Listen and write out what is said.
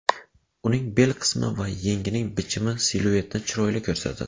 Uning bel qismi va yengining bichimi siluetni chiroyli ko‘rsatadi.